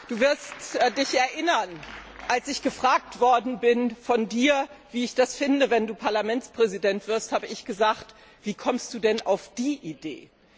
Du wirst Dich erinnern Als ich von Dir gefragt worden bin, wie ich das fände, wenn Du Parlamentspräsident wirst, habe ich gesagt Wie kommst Du denn auf die Idee?